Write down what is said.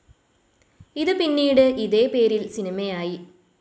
ഇത് പിന്നീട് ഇതേ പേരിൽ സിനിമയായി.